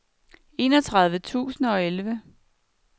enogtredive tusind og elleve